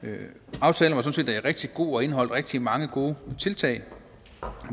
aftalen var sådan set rigtig god og indeholdt rigtig mange gode tiltag